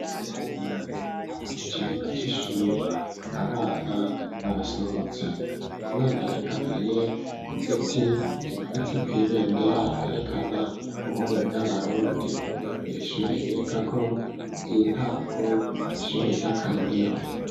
Berabiri hari mu kivuga c'ishuri abana barasohotse umwana yegamiye ku giti gimanitse kwibendera ryerekana ubume bw'abarundi iri ishuri bigako ry'intango n'ishuri ry'akarorero.